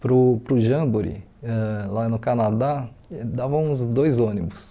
para o para o Jamboree, ãh lá no Canadá, dava uns dois ônibus.